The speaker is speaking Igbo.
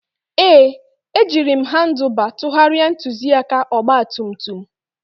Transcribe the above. Ee, ejiri m Handuba tụgharịa ntụzịaka ọgba tum tum